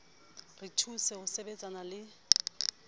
re thuse ho sebetsana le